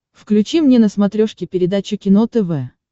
включи мне на смотрешке передачу кино тв